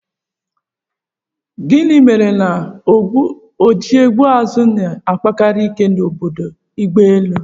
Gịnị mere na ndị ojiegbeezu na-akpakarị ike n'obodo agbaelu